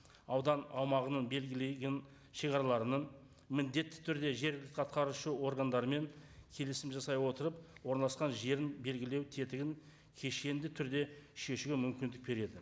аудан аумағының белгілеген шегараларының міндетті түрде жергілікті атқарушы органдарымен келісім жасай отырып орналасқан жерін белгілеу тетігін кешенді түрде шешуге мүмкіндік береді